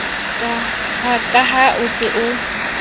ka ha o se o